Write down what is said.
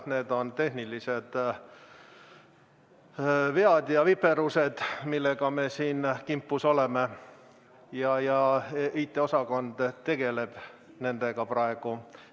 Need on tehnilised vead ja viperused, millega me siin kimpus oleme, ja IT-osakond tegeleb nendega praegu.